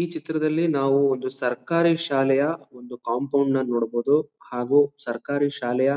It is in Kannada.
ಈ ಚಿತ್ರದಲ್ಲಿ ನಾವು ಒಂದು ಸರ್ಕಾರಿ ಶಾಲೆಯ ಒಂದು ಕಂಪೌಂಡ್ನ ನೋಡಬಹುದು ಹಾಗು ಸರ್ಕಾರಿ ಶಾಲೆಯ